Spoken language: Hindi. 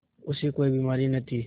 उसे कोई बीमारी न थी